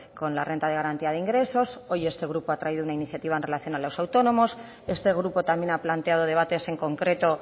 con la renta de garantía de ingresos hoy este grupo ha traído una iniciativa en relación a los autónomos este grupo también ha planteado debates en concreto